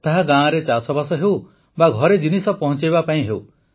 ତାହା ଗାଁରେ ଚାଷବାସ ହେଉ ବା ଘରେ ଜିନିଷ ପହଞ୍ଚାଇବା ପାଇଁ ହେଉ